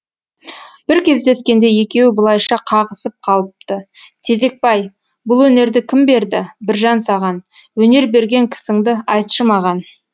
бір кездескенде екеуі былайша қағысып қалыпты тезекбай бұл өнерді кім берді біржан саған өнер берген кісіңді айтшы маған